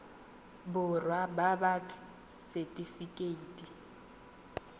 borwa ba ba ts setifikeite